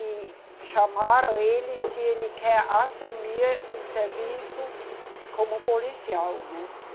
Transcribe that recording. E chamaram ele se ele quer assumir um serviço como policial, né?